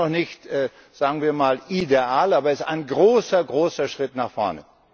Er ist noch nicht sagen wir mal ideal, aber er ist ein großer Schritt nach vorne.